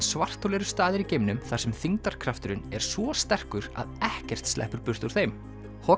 svarthol eru staðir í geimnum þar sem þyngdarkrafturinn er svo sterkur að ekkert sleppur burt úr þeim